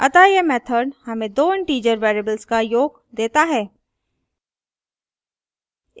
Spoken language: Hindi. अतः यह method हमें दो integer variables का योग देता है